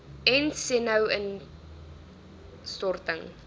ent senu instorting